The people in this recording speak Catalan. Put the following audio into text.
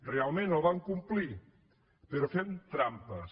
realment el van complir però fent trampes